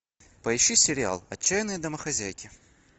поищи сериал отчаянные домохозяйки